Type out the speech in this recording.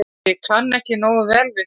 Ég kann ekki nógu vel við það.